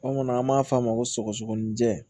Anw kɔni an b'a f'a ma ko sɔgɔsɔgɔni jɛ